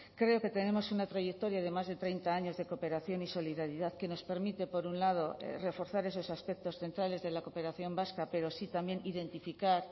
creo que tenemos una trayectoria de más de treinta años de cooperación y solidaridad que nos permite por un lado reforzar esos aspectos centrales de la cooperación vasca pero sí también identificar